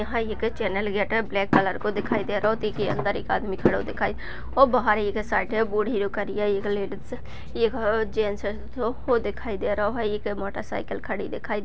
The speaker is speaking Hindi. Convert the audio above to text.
यहाँ एक चैनल गेट है ब्लैक कलर को दिखाई दे रहो जिके अंदर एक आदमी खड़ा दिखाई और बाहर एक साइड -- एक लेडीज एक जेंट्स वो दिखाई दे रहो है एक मोटरसाइकिल खड़ी दिखाई --